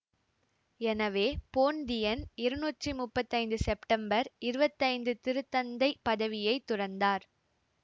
எனவே போன்தியன் இருநூற்றி முப்பத்தி ஐந்து செப்டம்பர் இருவத்தி ஐந்து திருத்தந்தை பதவியை துறந்தார்